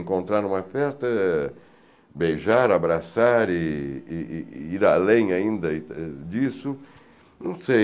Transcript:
Encontrar numa festa, beijar, abraçar e e e ir além ainda disso, não sei.